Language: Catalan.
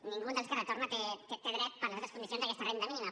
cap dels que retorna té dret per les altres condicions a aquesta renda mínima